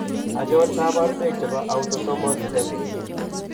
Achon kabarunaik chebo Autosomal recessive